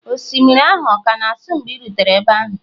osimiri ahụ ọ ka na-asọ mgbe ị rutere ebe ahụ?